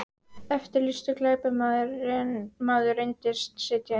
Eftirlýstur glæpamaður reyndist sitja inni